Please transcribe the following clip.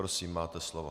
Prosím, máte slovo.